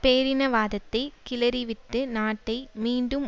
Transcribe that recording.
பேரினவாதத்தை கிளறிவிட்டு நாட்டை மீண்டும்